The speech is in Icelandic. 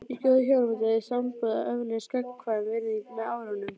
Í góðu hjónabandi eða sambúð eflist gagnkvæm virðing með árunum.